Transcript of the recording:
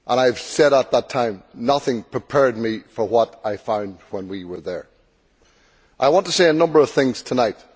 I said at the time that nothing prepared me for what I found when we were there. I want to say a number of things tonight.